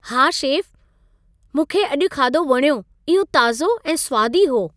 हा, शेफ, मूंखे अॼु खाधो वणियो। इहो ताज़ो ऐं स्वादी हो।